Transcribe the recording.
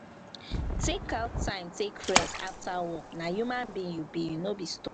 take out time take rest after work na human being you be no be stone